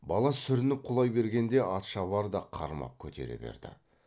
бала сүрініп құлай берген де атшабар да қармап көтере берді